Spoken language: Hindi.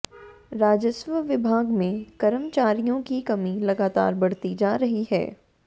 राजस्व विभाग में कर्मचारियों की कमी लगातार बढ़ती जा रही है